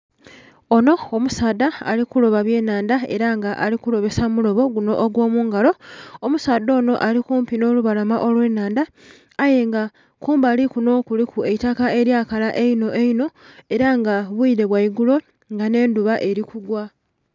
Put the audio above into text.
Onho omusaadha ali kuloba byenhanda ela nga ali kulobesa mulobo guno ogw'omungalo. Omusaadha onho ali kumpi nh'olubalama olw'ennhandha, aye nga kumbali kuno kuliku eitaka elyakala einho einho. Ela nga bwire bwa igulo nga nh'endhuba eli kugwa